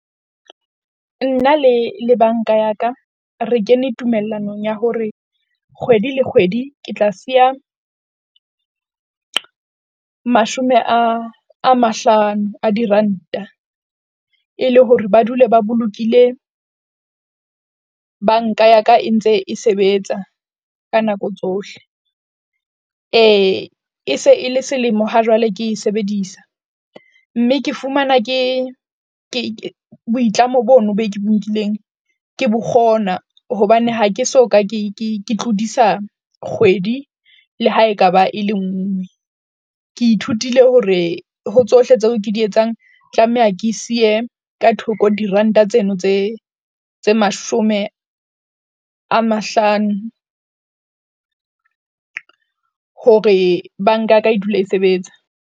Nna le le bank-a ya ka, re kene tumellanong ya hore kgwedi le kgwedi ke tla siya mashome a, a mahlano a diranta e le hore ba dule ba bolokile bank-a ya ka e ntse e sebetsa, ka nako tsohle e se e le selemo ha jwale ke e sebedisa mme ke fumana ke, ke boitlamo bono boo ke bo nkileng ke bo kgona. Hobane ha ke soka, ke ke tlodisa kgwedi. Le ha ekaba e le nngwe. Ke ithutile hore ho tsohle tseo ke di etsang tlameha ke siye ka thoko diranta tseno tse tse mashome a mahlano hore bank-a ka ya ka e dule e sebetsa.